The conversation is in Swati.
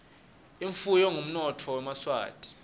imfuyo ngumnotfo wemaswati